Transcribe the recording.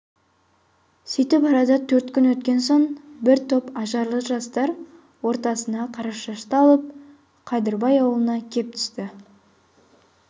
сүйтіп арада төрт күн өткен соң бір топ ажарлы жастар ортасына қарашашты алып қадырбай аулына кеп түсті